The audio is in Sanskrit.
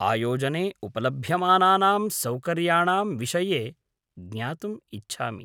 आयोजने उपलभ्यमानानां सौकर्य्याणां विषये ज्ञातुम् इच्छामि।